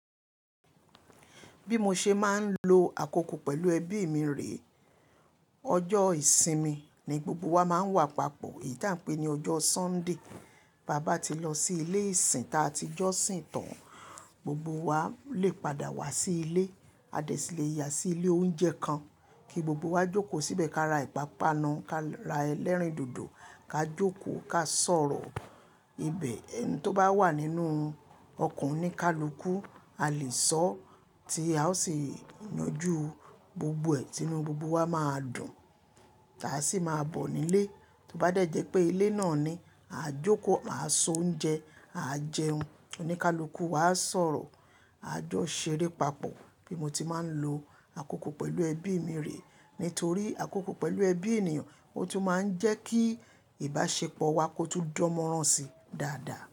Bí mo ṣe máa ń lo àkókò pẹ̀lú ẹbí mi rèé, ọjọ́ ìsinmi ni gbogbo wa máa ń wà papọ̀, èyí tí a ńpé ni ọjọ́ Sunday. Báa bá ti lọ sí ilé ìsìn tá a ti jọ sìn tàn, gbogbo wa lè padà wá sí ilé, a dẹ̀ sì lè yà sí ilé oúnjẹ kan kí gbogbo wa jókòó síbẹ̀ ká ra ìpápánu, ká ra ẹlẹ́rìndòdò, ká jókòó ká sọ̀rọ̀ ibẹ̀. Ẹn tó bá wà nínú ọkàn oníkálukú a lè sọ tí a ó sì yanjú gbogbo ẹ̀ tinnú gbogbo wa máa dùn, táa sì máa bọ̀ nílé. Tí ó bá dẹ́ jẹ́ pé ilé náà ni, àá jókòó, àá se oúnjẹ, à á jẹun, oníkálukú wa á sọ̀rọ̀, a jọ ṣeré papọ̀. Bí mo ti máa ń lo àkókò pẹ̀lú ẹbí mi rèé, nítorí àkókò pẹ̀lú ẹbí ènìyàn, ó tún máa ń jẹ́ kí ìbáṣepọ̀ wa kó tún dánmọ́rán si dáadáa.